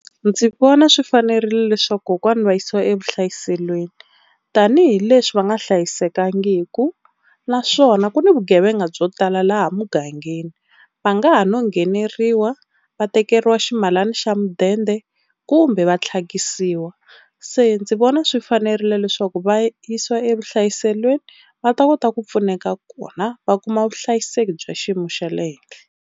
Ndzi vona swi fanerile leswaku kokwana va yisiwa evuhlayiselweni tanihileswi va nga hlayisekangiki naswona ku na vugevenga byo tala laha mugangeni va nga ha no ngheneriwa va tekeriwa ximalana xa mudende kumbe va tlhakisiwa. Se ndzi vona swi fanerile leswaku va yisiwa evuhlayiselweni va ta kota ku pfuneka kona va kuma vuhlayiseki bya xiyimo xa le henhla.